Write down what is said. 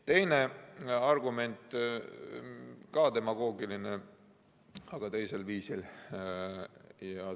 Teine argument, ka demagoogiline, aga teisel viisil.